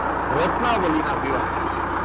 રત્નાવલી ના વિવાહ કરે છે